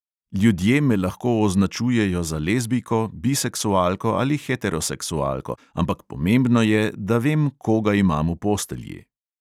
"Ljudje me lahko označujejo za lezbijko, biseksualko ali heteroseksualko, ampak pomembno je, da vem, koga imam v postelji."